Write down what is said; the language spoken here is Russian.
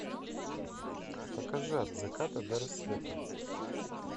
покажи от заката до рассвета